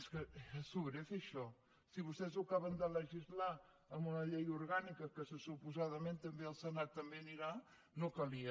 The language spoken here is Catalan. és que era sobrer fer això si vostès ho acaben de legislar amb una llei orgànica que suposadament també al senat també hi anirà no calia